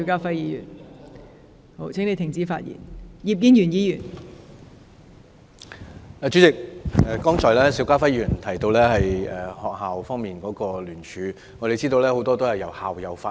代理主席，邵家輝議員剛才提到學校方面的聯署，我們知道大部分由校友發起。